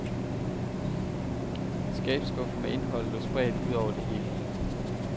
Skabsskuffer med indhold lå spredt ud over det hele.